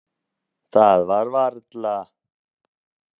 Það var varla.